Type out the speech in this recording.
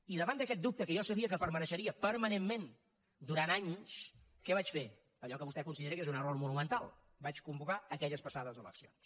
i davant d’aquest dubte que jo sabia que romandria permanentment durant anys què vaig fer allò que vostè considera que és un error monumental vaig convocar aquelles passades eleccions